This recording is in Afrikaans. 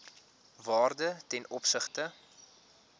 waarde ten opsigte